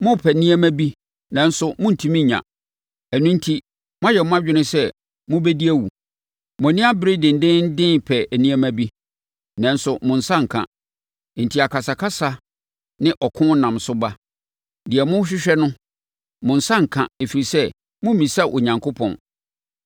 Morepɛ nneɛma bi nanso morentumi nnya, ɛno enti moayɛ mo adwene sɛ mobɛdi awu. Mo ani abere dendeenden repɛ nneɛma bi, nanso mo nsa nka, enti akasakasa ne ɔko nam so ba. Deɛ morehwehwɛ no, mo nsa renka ɛfiri sɛ, mommisa Onyankopɔn.